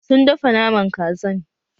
Sun dafa Naman Kazan